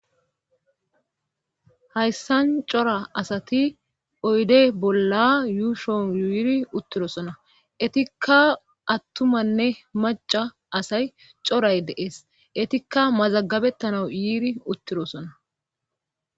Hayssan cora asati oyde bolla yuushon yyiiri uttirosona etikka attumanne maca asay coray deees etikka mazagabettanau yiiri uttirosona